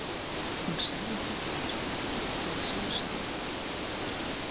Hún sagði þetta eins og ekkert væri sjálfsagðara.